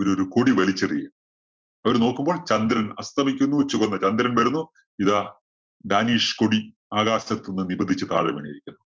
ഒരു ഒരു കൊടി വലിച്ചെറിയുകയാ. അവര് നോക്കുമ്പോള്‍ ചന്ദ്രന്‍ അസ്തമിക്കുന്നു, ചുവന്ന ചന്ദ്രന്‍ വരുന്നു ഇതാ danish കൊടി ആകാശത്ത് നിന്ന് നിപതിച്ച് താഴെ വീണിരിക്കുന്നു.